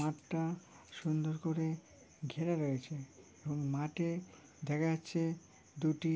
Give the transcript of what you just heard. মাঠটা সুন্দর করে ঘেরা রয়েছে এবং মাঠে দেখা যাচ্ছে দুটি